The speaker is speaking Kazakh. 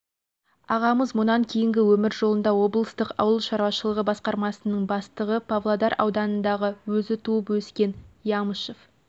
ағамыз мұнан кейінгі өмір жолында облыстық ауыл шаруашылығы басқармасының бастығы павлодар ауданындағы өзі туып өскен ямышев